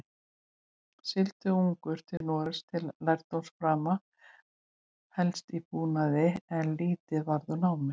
Sigldi ungur til Noregs til lærdómsframa, helst í búnaði, en lítið varð úr námi.